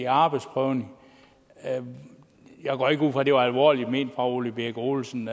arbejdsprøvning jeg går ikke ud fra at det var alvorligt ment fra herre ole birk olesen